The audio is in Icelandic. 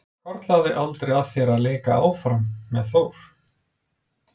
Hvarflaði aldrei að þér að leika áfram með Þór?